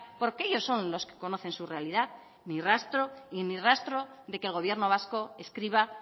porque ellos son los que conocen su realidad ni rastro y ni rastro de que el gobierno vasco escriba